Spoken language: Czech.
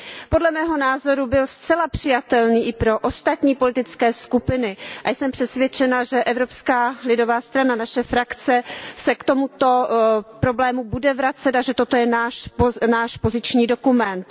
Podle mého názoru byl zcela přijatelný i pro ostatní politické skupiny a jsem přesvědčena, že Evropská lidová strana, naše frakce, se k tomuto problému bude vracet a že toto je náš poziční dokument.